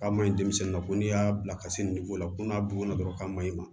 K'a maɲi denmisɛnninw ma ko n'i y'a bila ka se la ko n'a bugunna dɔrɔn k'a maɲi ma